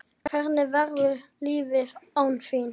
Hvernig verður lífið án þín?